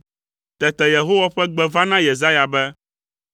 Tete Yehowa ƒe gbe va na Yesaya be: